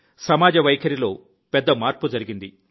సమాజ వైఖరిలో పెద్ద మార్పు జరిగింది